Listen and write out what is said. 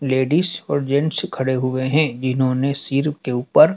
ladies और gents खड़े हुए हैं जिन्होंने सिर के ऊपर--